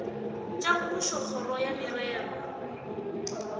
tša mmušo kgoro ya merero